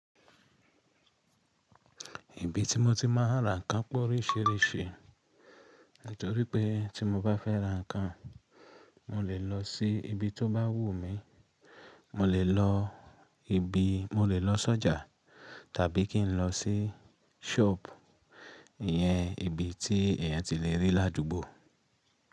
Ibi tí mo ti máa ń ra nǹkan p'óríṣiríṣi nítorípé tí mo bá fẹ́ ra nǹkan, mo lè lọ sí ibi tó bá wù mí. Mo lè lọ ibi, mo lè lọ s'ọ́jà tàbí kí n lọ sí ṣọ́ọ̀bù ìyẹn, ibi tí èèyàn ti le rí l'ádùúgbò.